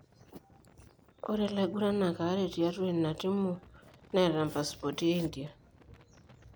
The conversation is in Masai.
Ore laiguranak are tiatua ina timu neta mpaspoti e India.